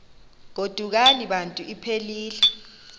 godukani bantu iphelil